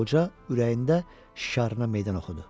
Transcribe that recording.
Qoca ürəyində şarına meydan oxudu.